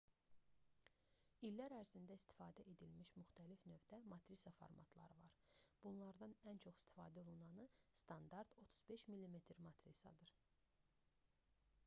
i̇llər ərzində istifadə edilmiş müxtəlif növdə matrisa formatları var. bunlardan ən çox istifadə olunanı standart 35 mm matrisadır 36-24 mm neqativ